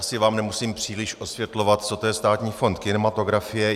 Asi vám nemusím příliš osvětlovat, co to je Státní fond kinematografie.